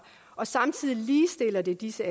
og samtidig ligestiller det disse